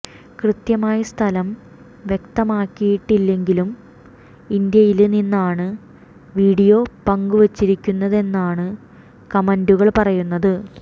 കൃത്യമായി സ്ഥലം വ്യക്തമാക്കിയിട്ടില്ലെങ്കിലും ഇന്ത്യയില് നിന്നാണ് വീഡിയോ പങ്കുവച്ചിരിക്കുന്നതെന്നാണ് കമന്റുകള് പറയുന്നത്